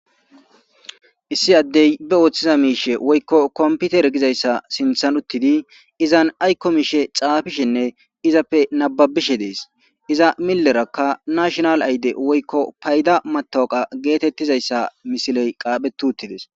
issi addey be ooththiza miishe woykko komputer gizayssa sinthan uttidi izan aykko miishe xaafishenne izappe nababishe dees iza millerakka nashonal ayde woykko payda matoqa geetettizayssa misiley qaaphe tuuttides